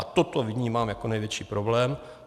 A toto vnímám jako největší problém.